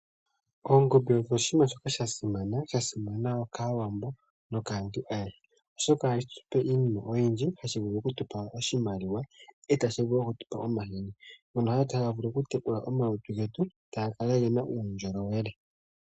Oongombe odho Iinamwenyo mbyoka ya siman kaawambo, nokaantu ayehe, oshoka ohadhi tupe iinima oyindji. Ohadhi vulu okutupa oshimaliwa, e tadhi vulu okutupa omahini, ngono taga vulu okutekula omalutu getu, taga kala gena uundjolowele.